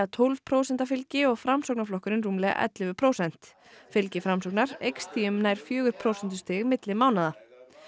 tólf prósenta fylgi og Framsóknarflokkurinn rúmlega ellefu prósent fylgi Framsóknar eykst því um nær fjögur prósentustig á milli mánaða